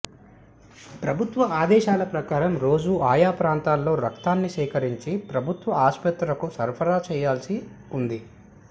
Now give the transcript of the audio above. ప్రభుత్వ ఆదేశాల ప్రకారం రోజూ ఆయా ప్రాంతాల్లో రక్తాన్ని సేకరించి ప్రభుత్వ ఆస్పత్రులకు సరఫరా చేయాల్సి ఉంది